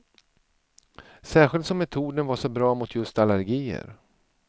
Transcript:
Särskilt som metoden var så bra mot just allergier.